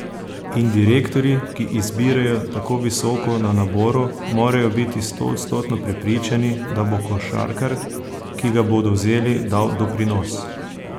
In direktorji, ki izbirajo tako visoko na naboru, morajo biti stoodstotno prepričani, da bo košarkar, ki ga bodo vzeli, dal doprinos.